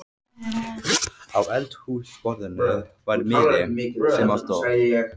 Á eldhúsborðinu var miði, sem á stóð